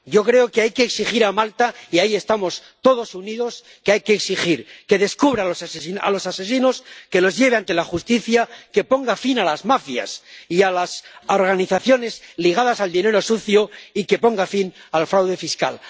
Yo creo que hay que exigir a Malta, y ahí estamos todos unidos, que hay que exigir que descubra a los asesinos, que los lleve ante la justicia, que ponga fin a las mafias y a las organizaciones ligadas al dinero sucio y que ponga fin al fraude fiscal.